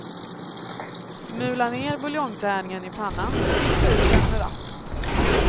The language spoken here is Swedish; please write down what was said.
Smula ner buljongtärningen i pannan och vispa ut den med vattnet.